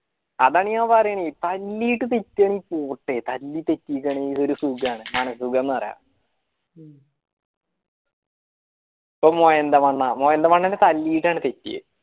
അതന്നെ ഓൻ പറയണേ പോട്ടെ ഒരു സുഖണ് സുഖം എന്ന് പറയാ പോയി മോയന്ത മണ്ണാ മോയന്ത മണ്ണനെ തെറ്റിയെ